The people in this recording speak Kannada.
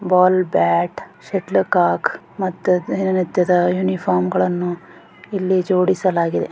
ಬಾಲ್ ಬ್ಯಾಟ್ ಶಟಲ್ದಿ ಕೊಕ್ನ ಮತ್ತು ದಿನ ನಿತ್ಯದ ಯುನಿಫಾರ್ಮ್ಗಳನ್ನು ಇಲ್ಲಿ ಜೋಡಿಸಲಾಗಿದೆ .